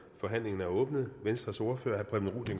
forhandlingen er åbnet venstres ordfører